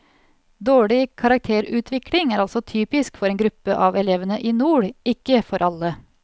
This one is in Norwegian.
Dårlig karakterutvikling er altså typisk for en gruppe av elevene i nord, ikke for alle.